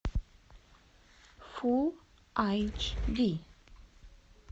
фул айч ди